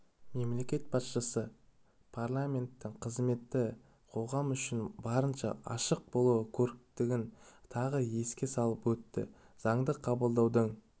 мемлекет басшысы парламенттің қызметі қоғам үшін барынша ашық болуы керектігін тағы еске салып өтті заңды қабылдаудың